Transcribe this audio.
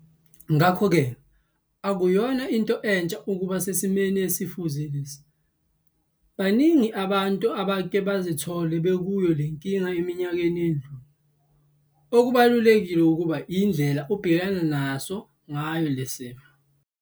Ngakho ke akuyona into entsha ukuba sesimweni esifuze lesi. Baningi abantu abake bazithola bekuyo le nkinga eminyakeni edlule. Okubalulekile kuba yindlela ubhekana naso ngayo le simo.